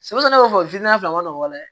Sɛbɛn kɔfɛ a man nɔgɔ dɛ